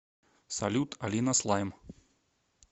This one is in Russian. салют алина слайм